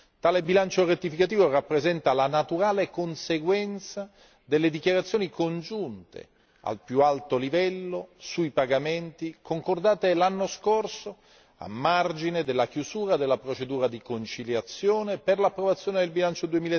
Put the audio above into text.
Tale bilancio rettificativo rappresenta la naturale conseguenza delle dichiarazioni congiunte al più alto livello sui pagamenti concordate l'anno scorso a margine della chiusura della procedura di conciliazione per l'approvazione del bilancio